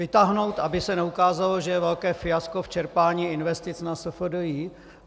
Vytáhnout, aby se neukázalo, že je velké fiasko v čerpání investic na SFDI.